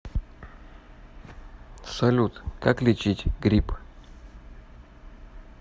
салют как лечить грипп